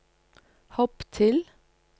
hopp til